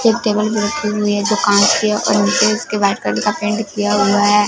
सब टेबल पे रखी हुई है जो कांच के है और नीचे इसके व्हाइट कलर का पेंट किया हुआ है।